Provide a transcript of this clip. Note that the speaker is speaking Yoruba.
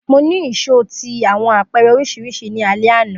Mo ni ìṣó ti awọn apẹrẹ oriṣiriṣi ni alẹ ana